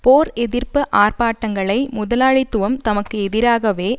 போர் எதிர்ப்பு ஆர்ப்பாட்டங்களை முதலாளித்துவம் தமக்கு எதிராகவே